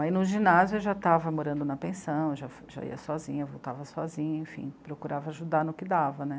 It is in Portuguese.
Aí, no ginásio, eu já estava morando na pensão, eu já já ia sozinha, voltava sozinha, enfim, procurava ajudar no que dava, né?